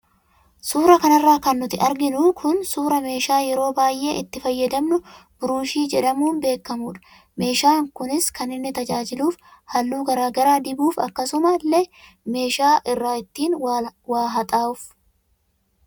Suura kanarraa kan nuti arginu kun suuraa meeshaa yeroo baayee itti fayyadamnu burushii jedhamuun beekamudha. Meeshaan kunis kan inni tajaajiluuf halluu garaagaraa dibuuf akkasuma illee meeshaa irraa ittiin waa haxxaahuuf.